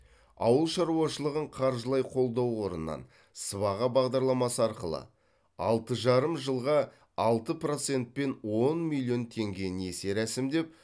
ауыл шаруашылығын қаржылай қолдау қорынан сыбаға бағдарламасы арқылы алты жарым жылға алты процентпен он миллион теңге несие рәсімдеп